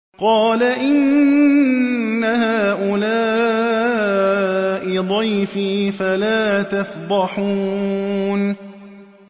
قَالَ إِنَّ هَٰؤُلَاءِ ضَيْفِي فَلَا تَفْضَحُونِ